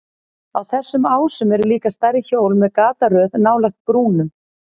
Á þessum ásum eru líka stærri hjól með gataröð nálægt brúnum.